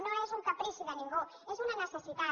no és un caprici de ningú és una necessitat